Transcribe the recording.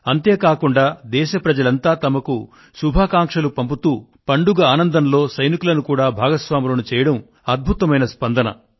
అంతేకాకుండా దేశ ప్రజలంతా తమకు శుభాకాంక్షలు పంపుతూ పండుగ ఆనందంలో సైనికులను కూడా భాగస్వాములను చేయడం అద్భుతమైన స్పందన